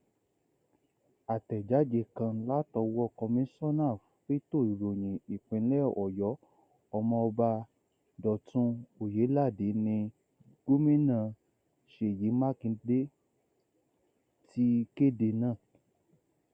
àtẹjáde kan látọwọ kọmíṣọnà fẹtọ ìròyìn ìpínlẹ ọyọ ọmọọba dọtun ọyéládé ní gómìnà ṣèyí mákindè ti kéde náà kéde náà